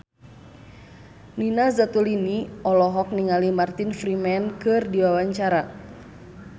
Nina Zatulini olohok ningali Martin Freeman keur diwawancara